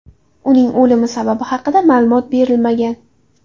Uning o‘limi sababi haqida ma’lumot berilmagan.